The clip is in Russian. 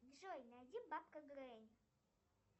джой найди бабка грей